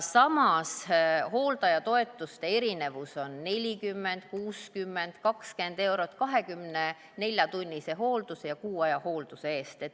Samas hooldajatoetuste erinevus: 40, 60, 20 eurot 24-tunnise hoolduse ja kuu aja hoolduse eest.